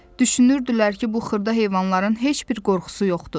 Düşünürdülər ki, bu xırda heyvanların heç bir qorxusu yoxdu.